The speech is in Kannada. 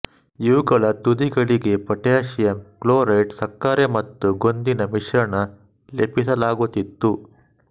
ಇವುಗಳ ತುದಿಗಳಿಗೆ ಪೊಟ್ಯಾಸಿಯಮ್ ಕ್ಲೋರೇಟ್ ಸಕ್ಕರೆ ಮತ್ತು ಗೋಂದಿನ ಮಿಶ್ರಣ ಲೇಪಿಸಲಾಗುತ್ತಿತ್ತು